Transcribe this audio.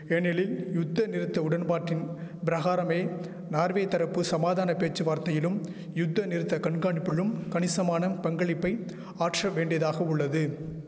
ஏனெலில் யுத்தநிறுத்த உடன்பாட்டின் பிரகாரமே நார்வே தரப்பு சமாதான பேச்சுவார்த்தையிலும் யுத்தநிறுத்த கண்காணிப்பிலும் கணிசமான பங்களிப்பை ஆற்ற வேண்டியதாகவுள்ளது